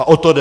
A o to jde.